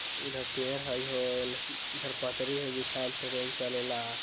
इधर पेड़ हाईल इधर पटरी बिछाइल हई ट्रैन चले ला।